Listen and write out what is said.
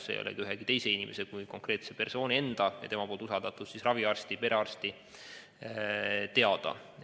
Need ei ole ühegi teise inimese kui konkreetse persooni enda ja tema usaldatud raviarsti või perearsti teada.